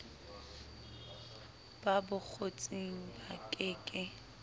ba bokgotsing ba ke ke